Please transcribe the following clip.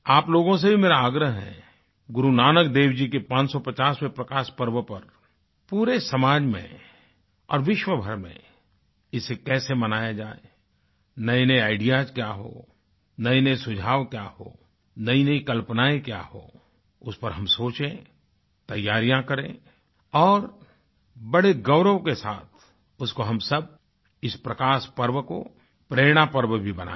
आप लोगो से भी मेरा आग्रह गुरु नानक देव जी के 550वें प्रकाश पर्व पर पूरे समाज में और विश्वभर में इसे कैसे मनाया जाए नएनए आईडीईएएस क्या हों नएनए सुझाव क्या हों नईनई कल्पनाएँ क्या हों उस पर हम सोचें तैयारियाँ करें और बड़े गौरव के साथ उसको हम सब इस प्रकाश पर्व को प्रेरणा पर्व भी बनाएं